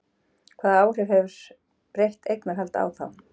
Hvaða áhrif hefur breytt eignarhald á þá?